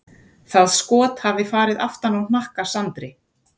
Það skot hafi farið aftan á hnakka Sandri.